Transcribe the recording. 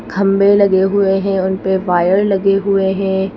खंबे लगे हुए हैं। उनपे वायर लगे हुए है।